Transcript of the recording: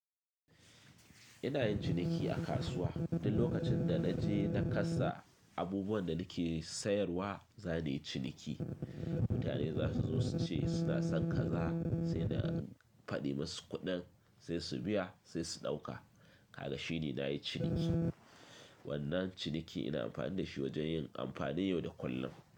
Ina yin ciniki a kasuwa duk lokacin da naje na kasa abubuwan da nake sayarwa za ni yi ciniki. Mutane za su zo su ce suna son kaza sai na faɗi musu kuɗin sai su biya sai su ɗauka. Kaga shi ne na yi ciniki. Wannan ciniki ina amfani da shi wajen yin amfani yau da kullum.